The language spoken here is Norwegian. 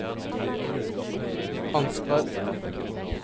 Ansgar